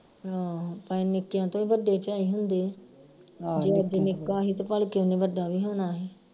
ਆਹੋ ਪਰ ਨਿੱਕੀਆਂ ਤੋਂ ਹੀ ਵੱਡੇ ਝਾਈ ਹੁੰਦੇ ਜੇ ਅੱਜ ਨਿੱਕਾ ਹੀ ਭਲਕੇ ਉਹਨੇ ਵੱਡਾ ਵੀ ਹੋਣਾ ਸੀ